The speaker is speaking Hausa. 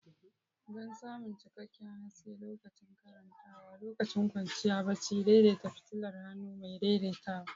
Don samun cikakken haske lokacin karantawa lokacin kwanciya barci, daidaita fitilar hannu mai daidaitawa.